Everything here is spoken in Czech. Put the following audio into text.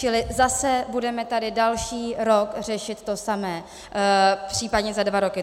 Čili zase budeme tady další rok řešit to samé, případně za dva roky.